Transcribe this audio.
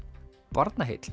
Barnaheill